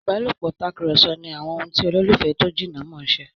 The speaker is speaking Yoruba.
ìbálòpọ̀ Tàkùrọ̀sọ ni ohùn ti ololufẹ tó jìnà món ṣe.